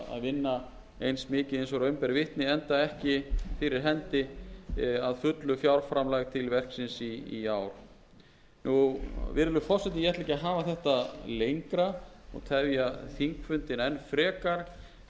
vinna eins mikið og raun ber vitni enda ekki fyrir hendi að fullu fjárframlag til verksins í ár virðulegi forseti ég ætla ekki að hafa þetta lengra og tefja þingfundinn enn frekar